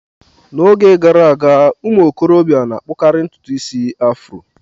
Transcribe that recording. N'oge gara aga ụmụ okorobịa na-akpukari ntutu isi afro.